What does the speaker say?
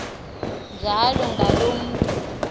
njalo ngaloo mntu